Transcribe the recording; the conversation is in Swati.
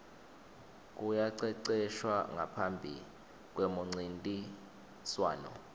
kuyaceceshwa ngaphambi kwemuncintiswano